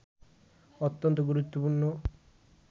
অত্যন্ত গুরুত্বপূর্ণ